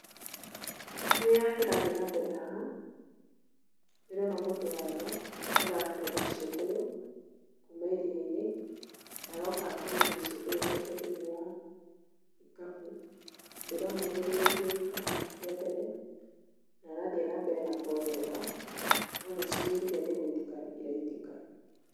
Kĩrĩa kĩrathiĩ na mbere haha ndĩrona mũndũ wa nja ũratega ciũngũyũ kuuma iria-inĩ na aroka akonoria ciungũyũ ciake thĩiniĩ wa gĩkabu. Nandĩrona nĩ aihũrĩtie gĩkabũ kĩa mbere na arathiĩ na mbere na kuongerera no nĩcihũrire nĩgũitĩka ciraitĩka.